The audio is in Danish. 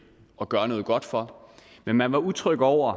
og gøre noget godt for men man var utryg over